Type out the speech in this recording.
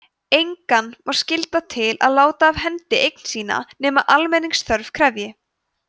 engan má skylda til að láta af hendi eign sína nema almenningsþörf krefji